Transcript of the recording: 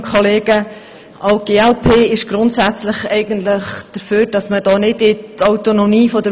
Auch die glp ist grundsätzlich eigentlich dafür, hier nicht in die Autonomie der Universität einzugreifen.